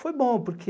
Foi bom, porque